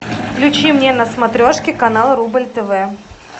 включи мне на смотрешке канал рубль тв